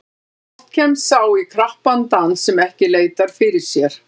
Oft kemst sá í krappan dans sem ekki leitar fyrir sér.